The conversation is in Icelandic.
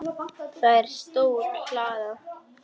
Það er stór hlaða.